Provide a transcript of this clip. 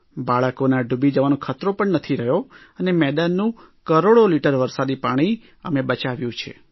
બાળકોના ડૂબી જવાનો ખતરો પણ નથી રહ્યો અને મેદાનનું કરોડો લીટર વરસાદી પાણી અમે બચાવ્યું છે